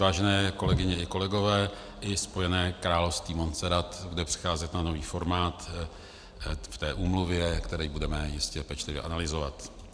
Vážené kolegyně a kolegové, i Spojené království Montserrat bude přecházet na nový formát v té úmluvě, který budeme jistě pečlivě analyzovat.